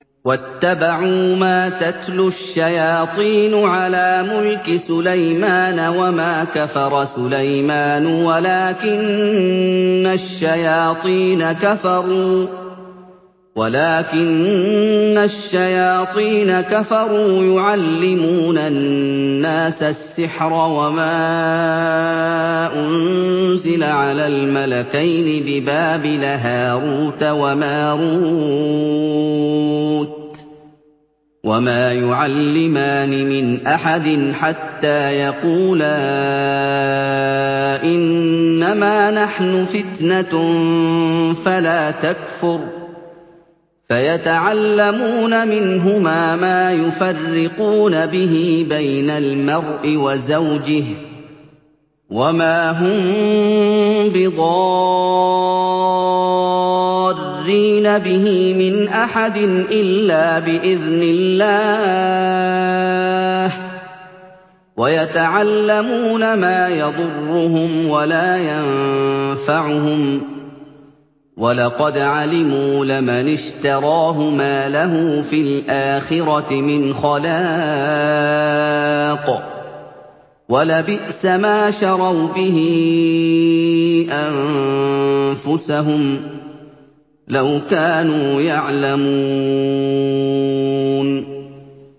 وَاتَّبَعُوا مَا تَتْلُو الشَّيَاطِينُ عَلَىٰ مُلْكِ سُلَيْمَانَ ۖ وَمَا كَفَرَ سُلَيْمَانُ وَلَٰكِنَّ الشَّيَاطِينَ كَفَرُوا يُعَلِّمُونَ النَّاسَ السِّحْرَ وَمَا أُنزِلَ عَلَى الْمَلَكَيْنِ بِبَابِلَ هَارُوتَ وَمَارُوتَ ۚ وَمَا يُعَلِّمَانِ مِنْ أَحَدٍ حَتَّىٰ يَقُولَا إِنَّمَا نَحْنُ فِتْنَةٌ فَلَا تَكْفُرْ ۖ فَيَتَعَلَّمُونَ مِنْهُمَا مَا يُفَرِّقُونَ بِهِ بَيْنَ الْمَرْءِ وَزَوْجِهِ ۚ وَمَا هُم بِضَارِّينَ بِهِ مِنْ أَحَدٍ إِلَّا بِإِذْنِ اللَّهِ ۚ وَيَتَعَلَّمُونَ مَا يَضُرُّهُمْ وَلَا يَنفَعُهُمْ ۚ وَلَقَدْ عَلِمُوا لَمَنِ اشْتَرَاهُ مَا لَهُ فِي الْآخِرَةِ مِنْ خَلَاقٍ ۚ وَلَبِئْسَ مَا شَرَوْا بِهِ أَنفُسَهُمْ ۚ لَوْ كَانُوا يَعْلَمُونَ